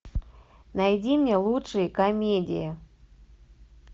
найди мне лучшие комедии